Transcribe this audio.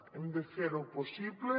hem de fer ho possible